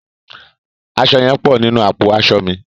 Aṣọ yẹn pọ̀ nínú àpò aṣọ mi.